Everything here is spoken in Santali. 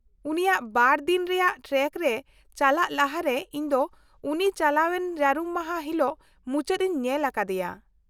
-ᱩᱱᱤᱭᱟᱜ ᱵᱟᱨ ᱫᱤᱱ ᱨᱮᱭᱟᱜ ᱴᱨᱮᱠ ᱨᱮ ᱪᱟᱞᱟᱜ ᱞᱟᱦᱟᱨᱮ ᱤᱧ ᱫᱚ ᱩᱱᱤ ᱪᱟᱞᱟᱣᱮᱱ ᱡᱟᱹᱨᱩᱢ ᱢᱟᱦᱟ ᱦᱤᱞᱳᱜ ᱢᱩᱪᱟᱹᱫ ᱤᱧ ᱧᱮᱞ ᱟᱠᱟᱫᱮᱭᱟ ᱾